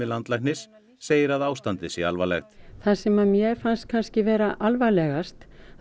landlæknis segir að ástandið sé alvarlegt það sem að mér fannst kannski vera alvarlegast